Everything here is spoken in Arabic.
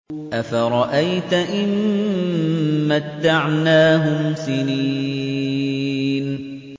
أَفَرَأَيْتَ إِن مَّتَّعْنَاهُمْ سِنِينَ